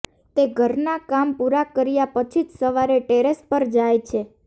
તે ઘરના કામ પૂરા કર્યા પછી જ સવારે ટેરેસ પર જાય છે